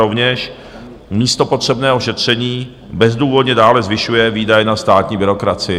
Rovněž místo potřebného šetření bezdůvodně dále zvyšuje výdaje na státní byrokracii.